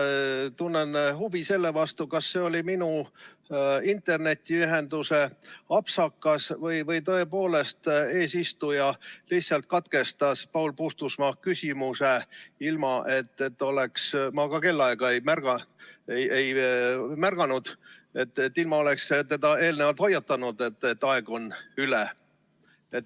Ma tunnen huvi selle vastu, et kas see oli minu internetiühenduse apsakas või tõepoolest teie eesistujana lihtsalt katkestasite Paul Puustusmaa küsimuse ilma, et oleksite – ma kellaaega ei märganud – teda eelnevalt hoiatanud, et aeg on üle.